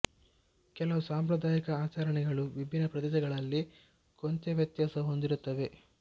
ಕೆಲವು ಸಾಂಪ್ರದಾಯಿಕ ಆಚರಣೆಗಳು ವಿಭಿನ್ನ ಪ್ರದೇಶಗಳಲ್ಲಿ ಕೊಂಚ ವ್ಯತ್ಯಾಸ ಹೊಂದಿರುತ್ತವೆ